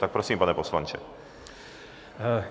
Tak prosím, pane poslanče.